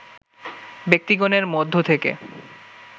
ব্যক্তিগণের মধ্য থেকে